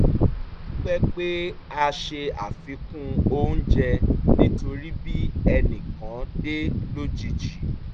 a dúpẹ́ pé a se àfikún oúnjẹ nítorí bí ẹnì kan dé lójijì